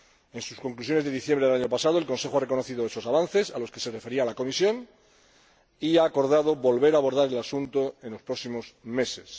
En sus conclusiones de diciembre del año pasado el Consejo reconoció esos avances a los que se refería la Comisión y acordó volver a abordar el asunto en los próximos meses.